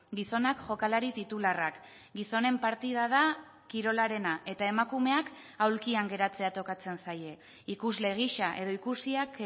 gizonak jokalari titularrak gizonen partida da kirolarena eta emakumeak aulkian geratzea tokatzen zaie ikusle gisa edo ikusiak